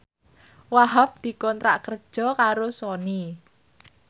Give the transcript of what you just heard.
Wahhab dikontrak kerja karo Sony